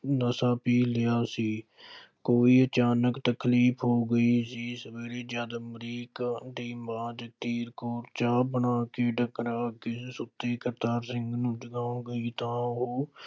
ਨਸ਼ਾ ਪੀ ਲਿਆ ਸੀ। ਕੋਈ ਅਚਾਨਕ ਤਕਲੀਫ ਹੋ ਗਈ ਸੀ। ਸਵੇਰੇ ਜਦ ਅਮਰੀਕ ਨੇ ਆਵਾਜ਼ ਦਿੱਤੀ, ਚਾਹ ਬਣਾ ਕੇ ਢੰਗਰਾਂ ਕੋਲ ਸੁੱਤੀ ਕਰਤਾਰ ਸਿੰਘ ਨੂੰ ਜਗਾਉਣ ਗਈ ਤਾਂ ਉਹ